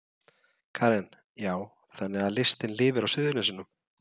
Karen: Já, þannig að listin lifir á Suðurnesjum?